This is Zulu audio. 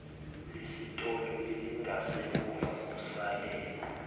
lesitolo elingasemuva kusale